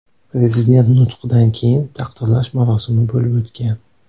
Prezident nutqidan keyin taqdirlash marosimi bo‘lib o‘tgan.